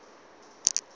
mapate